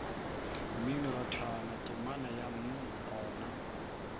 mminorathwana temana ya mm gona